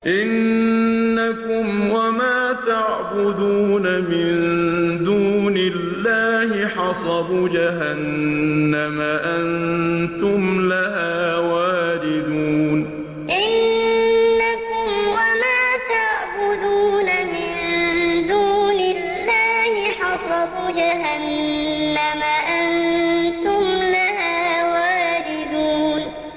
إِنَّكُمْ وَمَا تَعْبُدُونَ مِن دُونِ اللَّهِ حَصَبُ جَهَنَّمَ أَنتُمْ لَهَا وَارِدُونَ إِنَّكُمْ وَمَا تَعْبُدُونَ مِن دُونِ اللَّهِ حَصَبُ جَهَنَّمَ أَنتُمْ لَهَا وَارِدُونَ